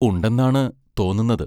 ഉണ്ടെന്നാണ് തോന്നുന്നത്.